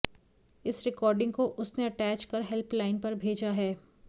इस रिकार्डिंग को उसने अटैच कर हेल्पलाइन पर भेजा है